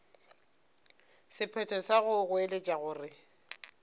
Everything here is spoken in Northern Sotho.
sephetho sa go goeletša gore